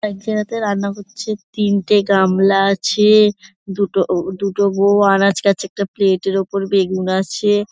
এক জায়গাতে রান্না হচ্ছে তিনটে গামলা আছে-এ দুটো ও দুটো বউ আনাজ কাটছে একটা প্লেট -এর উপর বেগুন আছে।